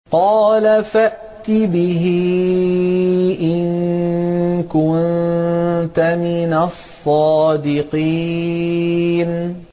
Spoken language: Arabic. قَالَ فَأْتِ بِهِ إِن كُنتَ مِنَ الصَّادِقِينَ